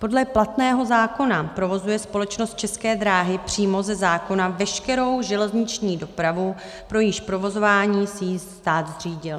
Podle platného zákona provozuje společnost České dráhy přímo ze zákona veškerou železniční dopravu, pro jejíž provozování si ji stát zřídil.